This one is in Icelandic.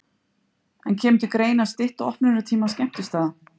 En kemur til greina að stytta opnunartíma skemmtistaða?